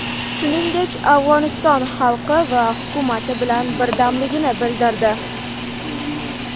Shuningdek, Afg‘oniston xalqi va hukumati bilan birdamligini bildirdi.